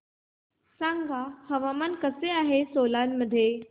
सांगा हवामान कसे आहे सोलान मध्ये